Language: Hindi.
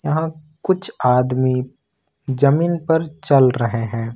यहां कुछ आदमी जमीन पर चल रहे हैं।